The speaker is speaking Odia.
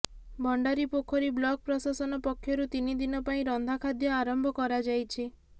ଭଣ୍ଡାରିପୋଖରୀ ବ୍ଲକ ପ୍ରଶାସନ ପକ୍ଷରୁ ତିନିଦିନ ପାଇଁ ରନ୍ଧାଖାଦ୍ୟ ଆରମ୍ଭ କରାଯାଇଛି